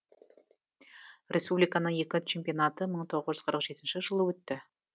республиканың екі чемпионаты мың тоғыз жүз қырық жетінші жылы өтті